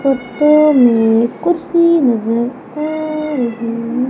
Photo में कुर्सी नजर आ रही है।